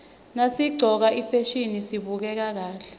nasiqcoke ifasihni sibukeka kahle